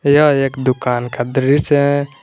यह एक दुकान का दृश्य है।